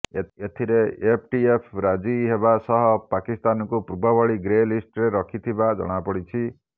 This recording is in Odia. ଏଥିରେ ଏଫଏଟିଏଫ୍ ରାଜି ହେବା ସହ ପାକିସ୍ତାନକୁ ପୂର୍ବଭଳି ଗ୍ରେ ଲିଷ୍ଟରେ ରଖିଥିବା ଜଣାପଡ଼ିଛି